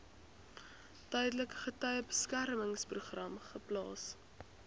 tydelike getuiebeskermingsprogram geplaas